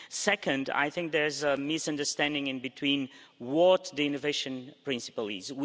Second, I think there's a misunderstanding in between what the innovation principle is.